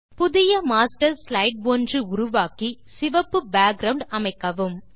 புதிய master slide ஒன்று உருவாக்கி சிவப்பு பேக்கிரவுண்ட் அமைக்கவும்